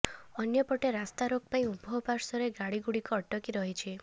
ଅନ୍ୟପଟେ ରାସ୍ତାରୋକ ପାଇଁ ଉଭୟ ପାର୍ଶ୍ବରେ ଗାଡିଗୁଡିକ ଅଟକି ରହିଛି